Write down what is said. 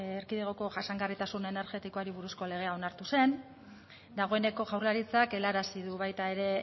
erkidegoko jasangarritasun energetikoari buruzko legea onartu zen dagoeneko jaurlaritzak helarazi du baita ere